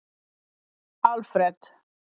Alfred